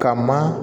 Ka maa